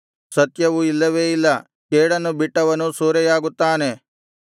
ಸತ್ಯವು ಇಲ್ಲವೇ ಇಲ್ಲ ಕೇಡನ್ನು ಬಿಟ್ಟವನು ಸೂರೆಯಾಗುತ್ತಾನೆ